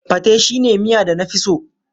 Pate shine miya da na fi so.